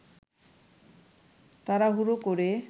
তাড়াহুড়ো করে